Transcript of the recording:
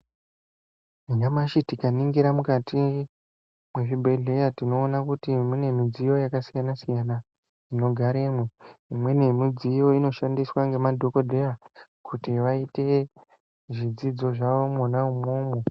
Nanyamashi tikaningira mukati mwezvibhedhlera tinoona kuti mune midziyo yakasiyana siyana inogaremwo , imweni yemidziyo inoshandiswa nemadhokodheya kuti vaite zvidzidzo zvavo mwona umwomwo.